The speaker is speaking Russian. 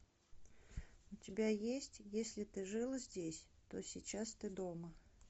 у тебя есть если ты жил здесь то сейчас ты дома